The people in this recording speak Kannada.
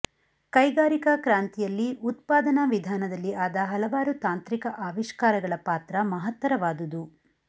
ಕೈಗಾರಿಕಾ ಕ್ರಾಂತಿಯಲ್ಲಿ ಉತ್ಪಾದನಾ ವಿಧಾನದಲ್ಲಿ ಆದ ಹಲವಾರು ತಾಂತ್ರಿಕ ಆವಿಷ್ಕಾರಗಳ ಪಾತ್ರ ಮಹತ್ತರವಾದುದು